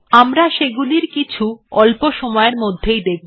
আমরা সেগুলির কিছু অল্প সময়ের মধ্যেই দেখব